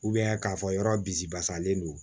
k'a fɔ yɔrɔ bi basalen don